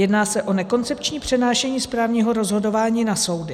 Jedná se o nekoncepční přenášení správního rozhodování na soudy.